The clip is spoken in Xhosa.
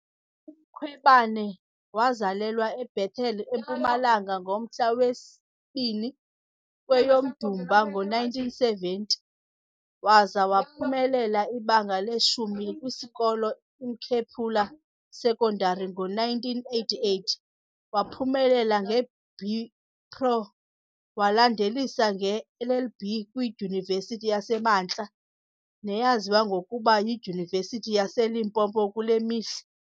UMkhwebane wazalelwa eBethal eMpumalanga ngomhla wesi-2 kweyoMdumba ngo-1970, waza waphumelela ibanga leshumi kwisikolo iMkhephula Sekondari ngo-1988. Waphumelela nge-BPro, walandelisa nge -LLB kwiDyunivesithi yasemaNtla neyaziwa ngokuba yiDyunivesithi yaseLimpopo kule mihla.